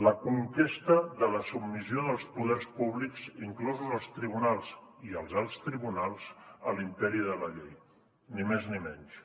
la conquesta de la submissió dels poders públics inclosos els tribunals i els alts tribunals a l’imperi de la llei ni més ni menys